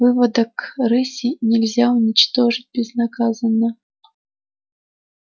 выводок рыси нельзя уничтожить безнаказанно